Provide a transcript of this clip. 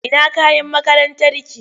Ina kayan makarantarki?